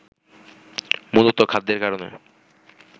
মূলতঃ খাদ্যের কারণে